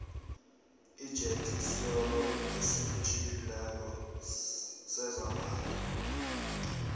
ijethi siolo esitjhiphileko sezambatho